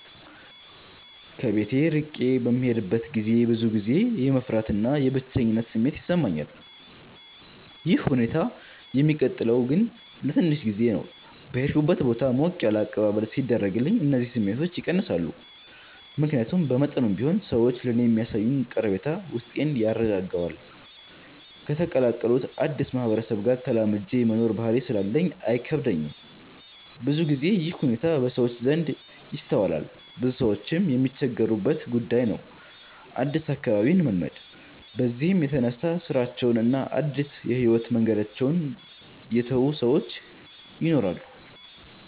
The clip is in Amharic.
ከቤት እርቄ በምሄድበት ገዜ ብዙ ጊዜ የመፍራት እና የብቸኝነት ስሜት ይሰማኛል። ይህ ሁኔታ የሚቀጥለው ግን ለትንሽ ጊዜ ነው። በሄድኩበት ቦታ ሞቅ ያለ አቀባበል ሲደረግልኝ እነዚህ ስሜቶች ይቀንሳሉ። ምክያቱም በመጠኑም ቢሆን ሰዎች ለኔ የሚያሳዩኝ ቀረቤታ ውስጤን ያረጋጋዋል። ከተቀላቀሉት አድስ ማህበረሰብ ጋር ተላምጄ የመኖር ባህሪ ስላለኝ አይከብደኝም። ብዙ ግዜ ይህ ሁኔታ በሰዎች ዘንድ ይስተዋላል ብዙ ሰዎችም የሚቸገሩበት ጉዳይ ነው አድስ አካባቢን መልመድ። በዚህም የተነሳ ስራቸውን እና አድስ የህይወት መንገዳቸውን የተው ሰወች ይናራሉ።